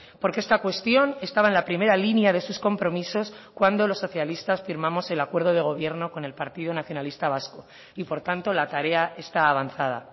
porque esta cuestión estaba en la primera línea de sus compromisos cuando los socialistas firmamos el acuerdo de gobierno con el partido nacionalista vasco y por tanto la tarea está avanzada